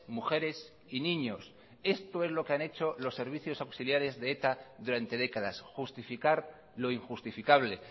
mujeres y niños esto es lo que han hecho los servicios auxiliares de eta durante décadas justificar lo injustificable